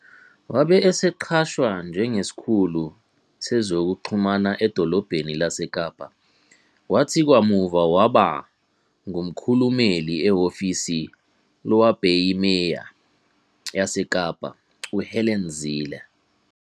Wabe eseqashwa njengesikhulu sezokuxhumana eDolobheni laseKapa, kwathi kamuva waba ngumkhulumeli ehhovisi lowabeyiMeya yaseKapa, uHelen Zille.